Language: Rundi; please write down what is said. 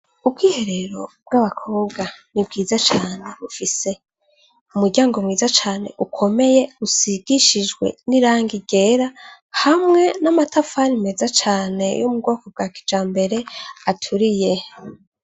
Ubwiherero bw’abakobwa ni bwiza cane bufise umuryango mwiza cane ukomeye , usigishijwe n’irangi ryera hamwe n’amatafari meza cane yo mubwoko bwa kijambere aturiye.